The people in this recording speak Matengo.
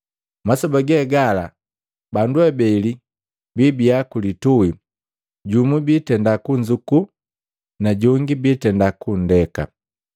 Masoba gegala bandu abeli biibiya ku lituhi, jumu biitenda kunzuku najongi biitenda kundeka.